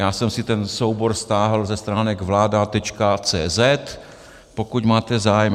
Já jsem si ten soubor stáhl ze stránek vlada.cz, pokud máte zájem.